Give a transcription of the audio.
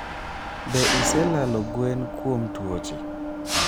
be ise lalo gwen kuom tuoche?